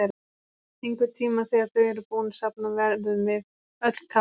Einhvern tíma þegar þau eru búin að safna verðum við öll kaffibrún.